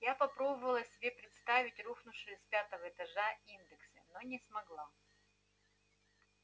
я попробовала себе представить рухнувшие с пятого этажа индексы но не смогла